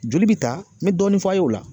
Joli bi ta n mɛ dɔɔni f'a ye o la